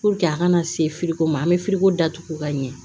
a kana se firiko ma an be datugu ka ɲɛ